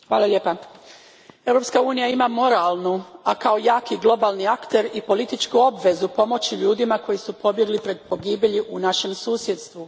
Gospođo predsjednice, Europska unija ima moralnu, a kao jaki globalni akter i političku obvezu pomoći ljudima koji su pobjegli pred pogibelji u našem susjedstvu.